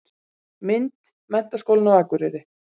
Mynd: Menntaskólinn á Akureyri.